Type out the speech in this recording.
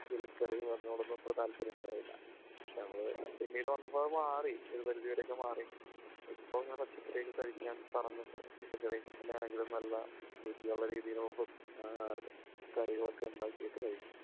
ഇലക്കറികൾ അതിനോടൊന്നും അത്ര താല്പര്യം ഉണ്ടായില്ല. പക്ഷേ പിന്നീട് വന്നപ്പോൾ അത് മാറി. ഒരു പരിധിവരെ ഒക്കെ മാറി. ഇപ്പോൾ ഞാൻ പച്ചക്കറി ഒക്കെ കഴിക്കാൻ. പച്ചക്കറികൾ ഒക്കെ തന്നെയാണെങ്കിലും നല്ല രുചിയുള്ള രീതിയിലുള്ള കറികളൊക്കെ ഉണ്ടാക്കിയിട്ട് കഴിക്കും.